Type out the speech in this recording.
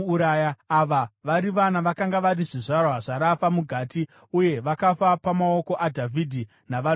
Ava vari vana vakanga vari zvizvarwa zvaRafa muGati, uye vakafa pamaoko aDhavhidhi navanhu vake.